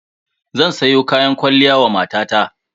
Zan sayo kayan kwalliya wa matata.